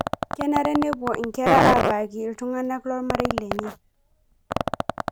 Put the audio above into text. Kenare nepuo inkera abaiki iltung'anak loormarei lenye